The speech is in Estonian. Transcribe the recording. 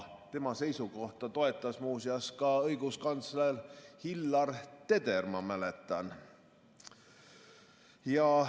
Tema seisukohta toetas muuseas ka õiguskantsler Hillar Teder, ma mäletan.